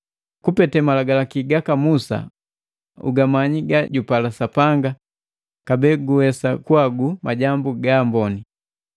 kupete Malagalaki gaka Musa ugamanyi gajupala Sapanga kabee guwesa kuhagu majambu gaamboni.